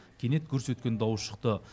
кенет гүрс еткен дауыс шықты